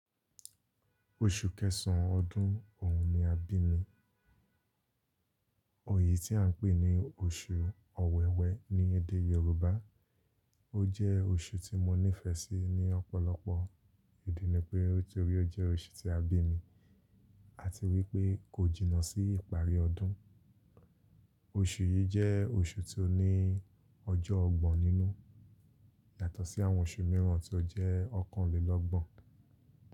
Oṣù kẹsàn-án ọdún òun ni a bí mi. Oyi tí à ń pè ní Oṣù Ọ̀wẹ̀wẹ̀ ní èdè Yoruba. Ó jẹ́ oṣù tí mo nífẹ̀ẹ́ sí ní ọ̀pọ̀lọpọ̀ ìdí ni pé nítorí ó jẹ́ oṣù tí a bí mi, àti wípé kò jìnnà sí ìparí ọdún. Oṣù yìí jẹ́ oṣù tí ó ní ọjọ́ ọgbọ̀n nínú yàtọ̀ sí àwọn oṣù mìíràn tí ó jẹ́ ọ̀kanlélọ́gbọ̀n.